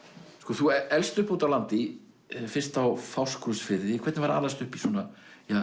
þú elst upp úti á landi fyrst á Fáskrúðsfirði hvernig var að alast upp í svona